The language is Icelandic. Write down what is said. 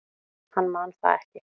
Hann man það ekki.